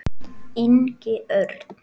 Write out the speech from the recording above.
Ingi Örn.